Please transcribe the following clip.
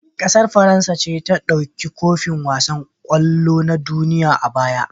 ƙasar faransa ce ta dauki kofin wasan kwallo na duniya a baya